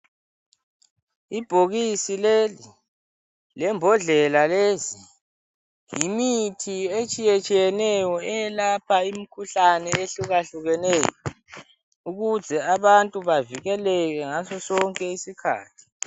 Ibhokisi leli lembondlela lezi yimithi etshiyetshiyeneyo eyelapha imkhuhlane ehlukahlukeneyo ukuze abantu bavikeleke ngaso sonke isikhathi.